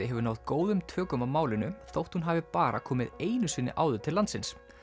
hefur náð góðum tökum á málinu þótt hún hafi bara komið einu sinni áður til landsins